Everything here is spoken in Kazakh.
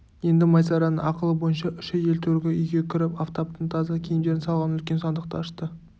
енді майсараның ақылы бойынша үш әйел төргі үйге кіріп афтаптың таза киімдерін салған үлкен сандықты ашты